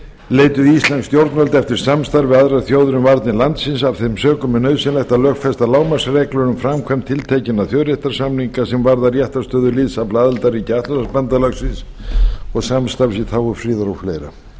leituðu íslensk stjórnvöld eftir samstarfi við aðrar þjóðir um varnir landsins af þeim sökum er nauðsynlegt að lögfesta lágmarksreglur um framkvæmd tiltekinna þjóðréttarsamninga sem varða réttarstöðu liðsafla aðildarríkja atlantshafsbandalagsins og samstarfs í þágu friðar og fleira